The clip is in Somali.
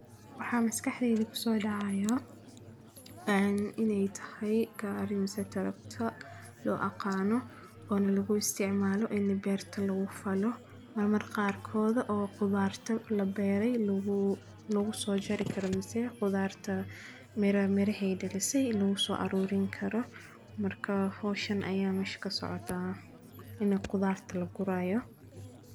Waxaa maskaxdeyda ku soo dhacaayo cayn inay tahay gaarimasa taragta loo aqaano oo na lagu isticmaalo inna beerta lagu falo. Mar markhaarkooda oo godaarta la beeray laguu-- lagu soo jari karamsii khudaarta miraa-mire hey dhalisay lagu soo arruun karro. Markaa hawshan ayaa mash ko socda in qodartu la guraayo.